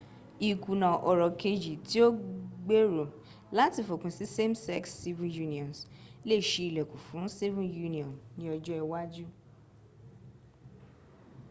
ìkùnà ọ̀rọ̀ kejì tí ó gbèrò láti fòpin sí same sex civil unions lè ṣí ìlẹ́kùn fún civil union ní ọjọ ìwájú